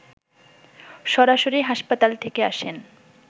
সরাসরি হাসপাতাল থেকে আসেন